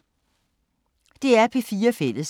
DR P4 Fælles